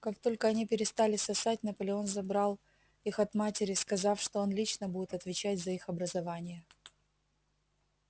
как только они перестали сосать наполеон забрал их от матери сказав что он лично будет отвечать за их образование